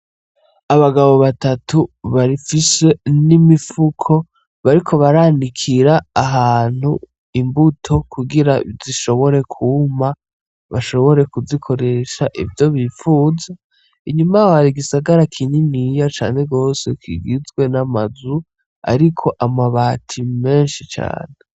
Abagabo batatu bafise n'imifuko bariko baranikira ahantu imbuto kugira zishobore kuma bashobore kuzikoresha ivyo bifuza inyuma yaho hari igisagara kininiya cane gose kigizwe n'amazu ariko amabati menshi cane.